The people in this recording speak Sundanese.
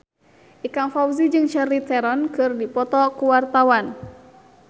Ikang Fawzi jeung Charlize Theron keur dipoto ku wartawan